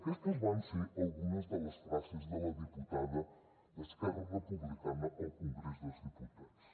aquestes van ser algunes de les frases de la diputada d’esquerra republicana al congrés dels diputats